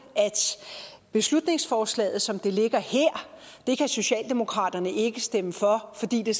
at beslutningsforslaget som det ligger her kan socialdemokratiet ikke stemme for fordi det